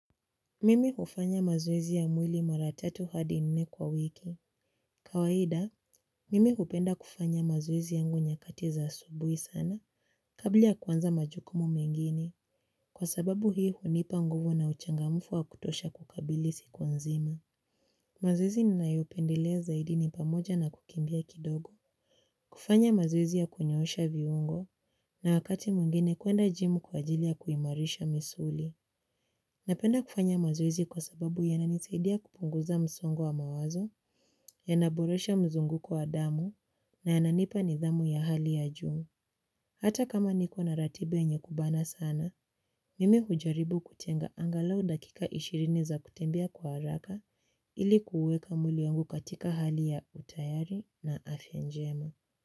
Mimi hufanya mazoezi ya mwili mara tatu hadi nne kwa wiki. Kawaida, mimi hupenda kufanya mazoezi yangu nyakati za asubuhi sana, kabla ya kuanza majukumu mengine, kwa sababu hii hunipa nguvu na uchangamfu wa kutosha kukabili siku nzima. Mazoezi ninayopendelea zaidi ni pamoja na kukimbia kidogo, kufanya mazoezi ya kunyoosha viungo, na wakati mwingine kuenda jimu kwa ajili ya kuimarisha misuli. Napenda kufanya mazoezi kwa sababu yananisaidia kupunguza msongo wa mawazo, yanaboresha mzunguko wa damu na yananipa nidhamu ya hali ya juuu. Hata kama niko na ratiba yenye kubana sana, mimi hujaribu kutenga angalau dakika ishirini za kutembea kwa haraka ili kuuweka mwili wangu katika hali ya utayari na afyanjema.